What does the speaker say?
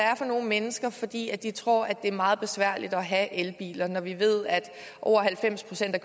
er for nogle mennesker fordi de tror det er meget besværligt at have elbiler når vi ved at over halvfems procent af